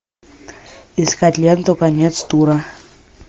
искать ленту конец тура